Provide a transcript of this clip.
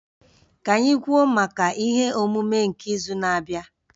Ka anyị kwuo maka ihe omume nke izu na-abịa